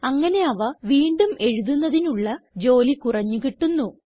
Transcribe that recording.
അങ്ങനെ അവ വീണ്ടും എഴുതുന്നതിനുള്ള ജോലി കുറഞ്ഞു കിട്ടുന്നു